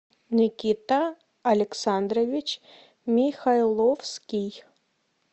никита александрович михайловский